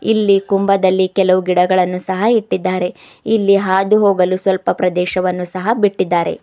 ಇಲ್ಲಿ ಕುಂಭದಲ್ಲಿ ಕೆಲವು ಗಿಡಗಳನ್ನು ಸಹ ಇಟ್ಟಿದ್ದಾರೆ ಇಲ್ಲಿ ಹಾದು ಹೋಗಲು ಸ್ವಲ್ಪ ಪ್ರದೇಶವನ್ನು ಸಹ ಬಿಟ್ಟಿದ್ದಾರೆ.